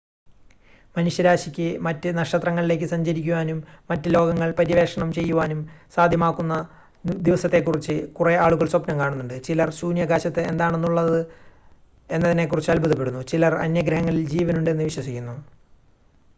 മനുഷ്യരാശിക്ക് മറ്റ് നക്ഷത്രങ്ങളിലേക്ക് സഞ്ചരിക്കുവാനും മറ്റ് ലോകങ്ങൾ പര്യവേക്ഷണം ചെയ്യുവാനും സാധ്യമാവുന്ന ദിവസത്തെക്കുറിച്ച് കുറെ ആളുകൾ സ്വപ്നം കാണുന്നുണ്ട് ചിലർ ശൂന്യാകാശത്ത് എന്താണുള്ളത് എന്നതിനെക്കുറിച്ച് അത്ഭുദപ്പെടുന്നു ചിലർ അന്യഗ്രഹങ്ങളിൽ ജീവനുണ്ട് എന്ന് വിശ്വസിക്കുന്നു